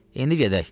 İndi gedək.